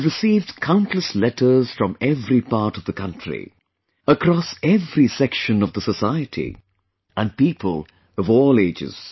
I have received countless letters from every part of the country, across every section of the society, and people of all ages